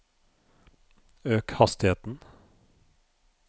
øk hastigheten